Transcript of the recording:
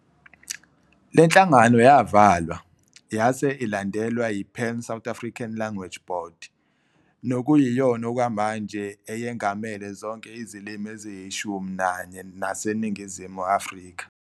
Lenhlangano yavalwa, yase ilandelwa yiPan South African Language Board, nokuyiyona okwamanje eyengamele zonke izilimu eziyishumi nanye zaseNingizimu Afrika.